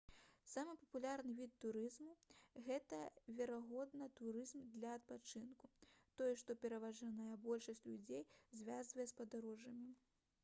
самы папулярны від турызму гэта верагодна турызм для адпачынку тое што пераважная большасць людзей звязвае з падарожжамі